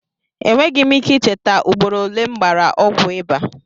Enweghị m ike ị cheta ugboro ole m gbara ọgwụ ịbà.